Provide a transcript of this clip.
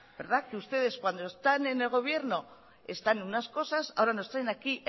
verdad que ustedes cuando están en el gobierno están en unas cosas ahora nos traen aquí